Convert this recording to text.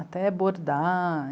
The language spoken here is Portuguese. Até bordar.